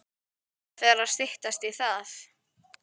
Það fer að styttast í það.